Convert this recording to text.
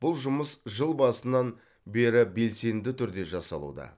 бұл жұмыс жыл басынан бері белсенді түрде жасалуда